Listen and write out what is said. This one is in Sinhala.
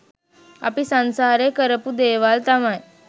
අපි සංසාරේ කරපු දේවල් තමයි